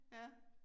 Ja